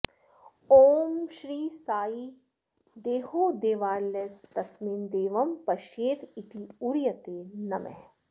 ॐ श्री साई देहो देवालयस्तस्मिन् देवं पश्येदित्युदीरयते नमः